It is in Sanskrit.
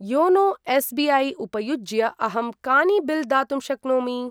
YONO SBI. उपयुज्य अहं कानि बिल् दातुं शक्नोमि?